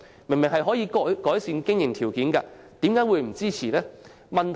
它可以改善經營條件，為何不支持呢？